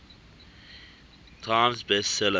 times best seller